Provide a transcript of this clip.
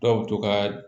Dɔw bɛ to ka